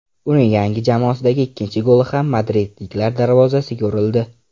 Uning yangi jamoasidagi ikkinchi goli ham madridliklar darvozasiga urildi.